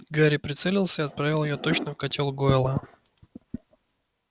гарри прицелился и отправил её точно в котёл гойла